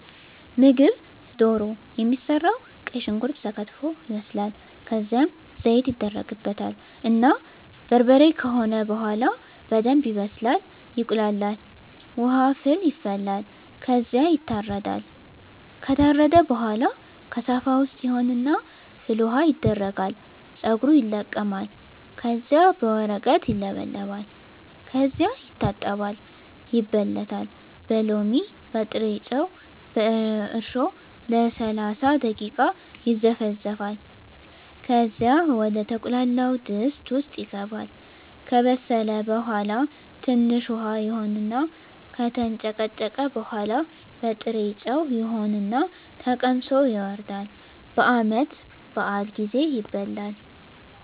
ምግብ ደሮ የሚሰራዉ ቀይ ሽንኩርት ተከትፎ ይበስላል ከዝያም ዘይት ይደረግበታል እና በርበሬ ከሆነ በሆላ በደንብ ይበስላል ይቁላላል። ዉሀ ፍል ይፈላል ከዝያ ይታረዳል። ከታረደ በሆላ ከሳፋ ዉስጥ ይሆን እና ፍል ዉሀዉ ይደረጋል ፀጉሩ ይለቀማል ከዚያ በወረቀት ይለበለጣል ከዚያ ይታጠባል ይበለታል በሎሚ፣ በጥሮጮ፣ በእርሾ ለሰላሳ ደቂቃ ይዘፈዘፋል ከዚያ ወደ ተቁላላዉ ድስት ዉስጥ ይገባል። ከበሰለ በሆላ ትንሽ ዉሀ ይሆን እና ከተንጨቀጨቀ በሆላ ጥሮጮ ይሆን እና ተቀምሶ ይወርዳል። በዓመት በአል ጊዜ ይበላል።